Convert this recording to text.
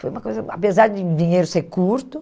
Foi uma coisa, apesar de o dinheiro ser curto.